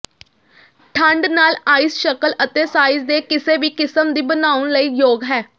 ਠੰਡ ਨਾਲ ਆਈਸ ਸ਼ਕਲ ਅਤੇ ਸਾਈਜ਼ ਦੇ ਕਿਸੇ ਵੀ ਕਿਸਮ ਦੀ ਬਣਾਉਣ ਲਈ ਯੋਗ ਹੈ